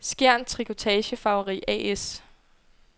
Skjern Trikotage-Farveri A/S